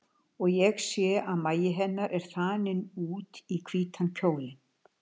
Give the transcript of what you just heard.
Og ég sé að magi hennar er þaninn út í hvítan kjólinn.